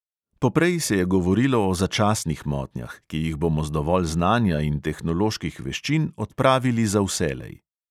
Poprej se je govorilo o "začasnih motnjah", ki jih bomo z dovolj znanja in tehnoloških veščin odpravili za vselej.